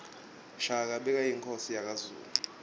shaka bekuyinkhosi yakazulu